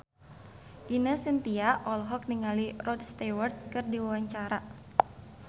Ine Shintya olohok ningali Rod Stewart keur diwawancara